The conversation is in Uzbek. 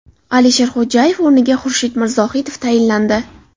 Alisher Xodjayev o‘rniga Xurshid Mirzohidov tayinlandi .